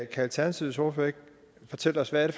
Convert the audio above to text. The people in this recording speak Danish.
kan alternativets ordfører ikke fortælle os hvad det